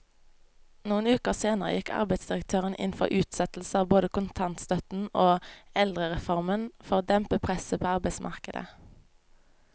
Noen uker senere gikk arbeidsdirektøren inn for utsettelse av både kontantstøtten og eldrereformen for å dempe presset på arbeidsmarkedet.